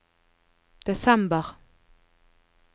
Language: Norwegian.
desember